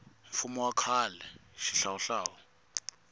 mfumo wa khale wa xihlawuhlawu